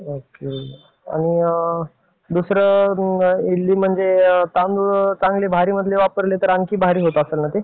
Okay. आणि दुसरा इडली मध्ये तांदूळ आणखी भारी वापरले तर आणखी भारी होत असेल ना ते?